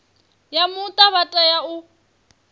ya muta vha tea u